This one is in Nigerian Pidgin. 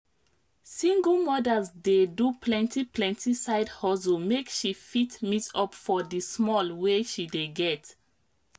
single mothers dey do plenti plenti side hustle make she fit meet up for di small wey she dey get